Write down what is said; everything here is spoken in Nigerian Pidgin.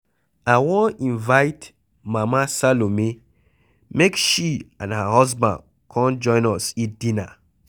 I wan invite Mama Salome make she and her husband come join us eat dinner.